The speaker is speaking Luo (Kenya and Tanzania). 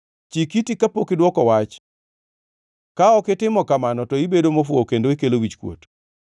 Chik iti kapok idwoko wach; ka ok itimo kamano to ibedo mofuwo kendo ikelo wichkuot.